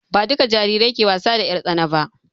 Ba dukka jarirai ke wasa da 'yar tsana ba